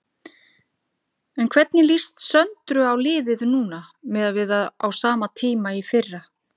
En hvernig líst Söndru á liðið núna miðað við á sama tíma í fyrra?